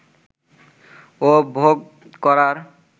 ও ভোগ করার